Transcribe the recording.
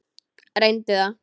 Reyndu það.